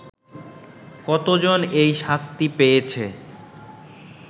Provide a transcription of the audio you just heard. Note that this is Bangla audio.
কতজন এই শাস্তি পেয়েছে